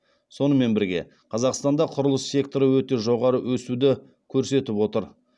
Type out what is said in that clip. сонымен бірге қазақстанда құрылыс секторы өте жоғары өсуді көрсетіп отыр